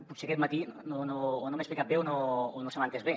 potser aquest matí o no m’he explicat bé o no se m’ha entès bé